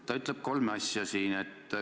Ta ütleb kolme asja.